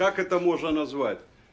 как это можно назвать